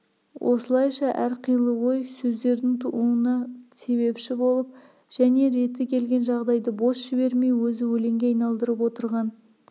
осылайша әрқилы ой сөздердің тууына себепші болып және реті келген жағдайды бос жібермей өзі өлеңге айналдырып отырған